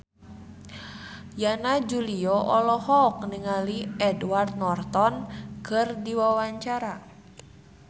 Yana Julio olohok ningali Edward Norton keur diwawancara